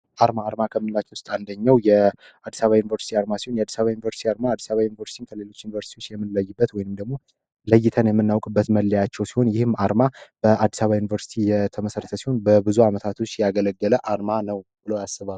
አርማ አርማ ከምላች ውስጥ አንደኘው የአዲሳ ዩኒቨርስቲ አርማ ሲሆን የአዲሳ ዩኒቨርስቲ 4ርማ አዲሳባ ዩኒቨርስቲን ከሌሎች ዩኒቨርሲቲዎች የምለይበት ወይንም ደግሞ ለይተን የምናውቅ በት መለያቸው ሲሆን ይህም አርማ በአዲሳባ ዩኒቨርሲቲ የተመሰረተ ሲሆን በብዙ ዓመታቶች ያገለገለ አርማ ነው ብሎ ያስባል፡፡